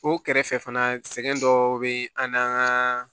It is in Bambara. O kɛrɛfɛ fana sɛgɛn dɔw bɛ an n'an ka